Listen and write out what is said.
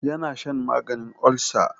Ya na shan maganin olsa.